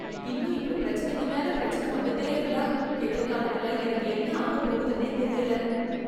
இன்னும் இப்படி பிரச்சினைக்கு மேல பிரச்சன வந்துட்டே இருந்தா எதிர்காலத்துல எனக்கு என்ன ஆகப்போகுதுன்னே தெரியல.